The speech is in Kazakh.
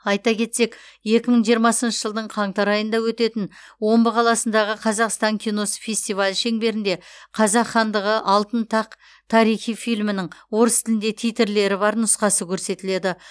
айта кетсек екі мың жиырмасыншы жылдың қаңтар айында өтетін омбы қаласындағы қазақстан киносы фестивалі шеңберінде қазақ хандығы алтын тақ тарихи фильмінің орыс тілінде титрлері бар нұсқасы көрсетіледі